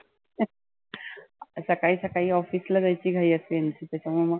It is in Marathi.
सकाळी सकाळी office ला जायची घाई असते यांची त्याच्यामुळ मग